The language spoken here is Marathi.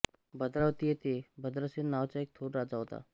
भद्रावती येथे भद्रसेन नावाचा एक थोर राजा होता